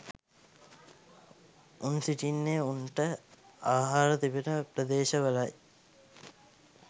උන් සිටින්නේ උන්ට ආහාර තිබෙන ප්‍රදේශ වලයි.